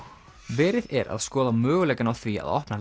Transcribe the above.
verið er að skoða möguleikana á því að opna